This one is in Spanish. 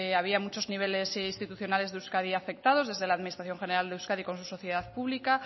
había muchos niveles institucionales de euskadi afectados desde la administración general de euskadi con su sociedad pública